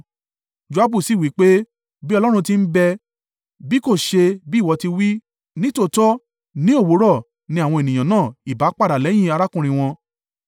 Joabu sì wí pé, “Bí Ọlọ́run ti ń bẹ, bí kò ṣe bí ìwọ ti wí, nítòótọ́ ní òwúrọ̀ ni àwọn ènìyàn náà ìbá padà lẹ́yìn arákùnrin wọn.”